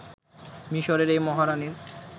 মিশরের এই মহারানির